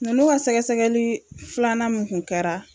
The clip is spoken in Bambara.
Nunnu ka sɛgɛsɛgɛli filanan mun kun kɛra.